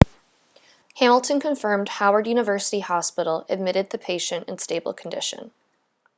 hamilton confirmed howard university hospital admitted the patient in stable condition